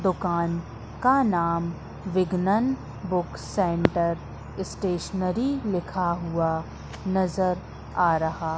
दुकान का नाम विगनन बुक सेंटर स्टेशनरी लिखा हुआ नजर आ रहा--